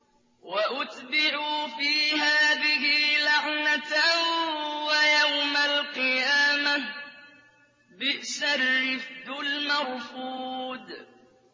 وَأُتْبِعُوا فِي هَٰذِهِ لَعْنَةً وَيَوْمَ الْقِيَامَةِ ۚ بِئْسَ الرِّفْدُ الْمَرْفُودُ